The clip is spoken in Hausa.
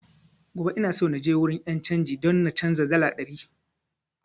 Gobe ina so naje wurin 'yan canji don na canza dala ɗari